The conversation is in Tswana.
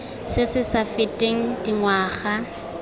se se sa feteng dingwaga